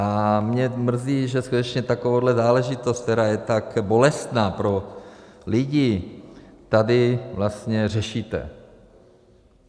A mě mrzí, že skutečně takovouhle záležitost, která je tak bolestná pro lidi, tady vlastně řešíte.